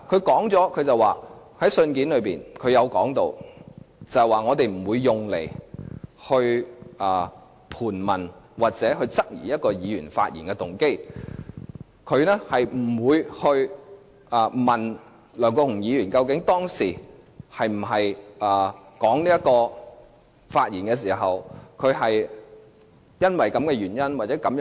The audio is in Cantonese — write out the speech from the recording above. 律政司在信件中說明不會用這些文件來盤問或質疑一位議員發言的動機，不會問梁國雄議員究竟當時發言時，是否基於這個原因或這個動機？